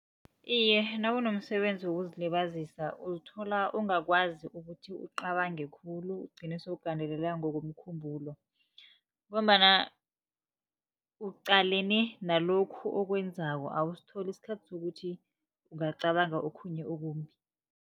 Iye, nakunomsebenzi wokuzilibazisa uzithola ungakwazi ukuthi ucabange khulu, ugcine sewugandeleleka ngokomkhumbulo. Ngombana uqalene nalokhu okwenzako, awusitholi isikhathi sokuthi ungacabanga okhunye okumbi.